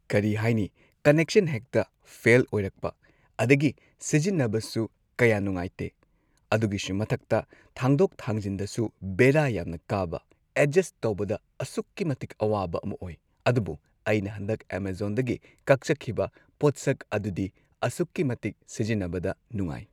ꯀꯔꯤ ꯍꯥꯏꯅꯤ ꯀꯅꯦꯛꯁꯟ ꯍꯦꯛꯇ ꯐꯦꯜ ꯑꯣꯏꯔꯛꯄ ꯑꯗꯒꯤ ꯁꯤꯖꯤꯟꯅꯕꯁꯨ ꯀꯌꯥ ꯅꯨꯉꯥꯏꯇꯦ ꯑꯗꯨꯒꯤꯁꯨ ꯃꯊꯛꯇ ꯊꯥꯡꯗꯣꯛ ꯊꯥꯡꯖꯤꯟꯗꯁꯨ ꯕꯦꯔꯥ ꯌꯥꯝꯅ ꯀꯥꯕ ꯑꯦꯗꯖꯁ ꯇꯧꯕꯗ ꯑꯁꯨꯛꯀꯤ ꯃꯇꯤꯛ ꯑꯋꯥꯕ ꯑꯃ ꯑꯣꯏ ꯑꯗꯨꯕꯨ ꯑꯩꯅ ꯍꯟꯗꯛ ꯑꯦꯃꯖꯣꯟꯗꯒꯤ ꯀꯛꯆꯈꯤꯕ ꯄꯣꯠꯁꯛ ꯑꯗꯨꯗꯤ ꯑꯁꯨꯛꯀꯤ ꯃꯇꯤꯛ ꯁꯤꯖꯤꯟꯅꯕꯗ ꯅꯨꯉꯥꯏ꯫